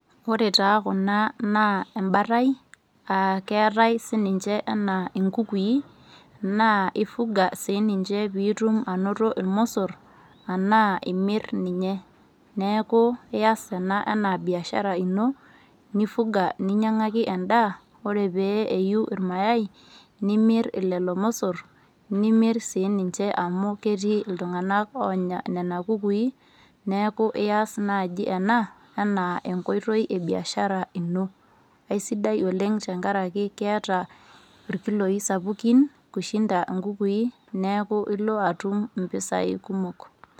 Ore taa Kuna naa embatai, aa keatai sininche anaa inkukui , naa ifuga sii ninche pii itum ainoto ilmosor anaa imir ninye, neaku ias ena anaa biashara ino nifuga ninyang'aki endaa. Ore pee eyuu ilmayai nimir lelo mosor nimir sii ninche amu ketii sinye iltung'ana oonya Nena kukui. Neaku ias naaji ena anaa enkoitoi e biashara ino. Aisidai oleng' tangaraki eata ilkiloi sapukin, kushinda inkukui, neaku ilo atum impesai kumok.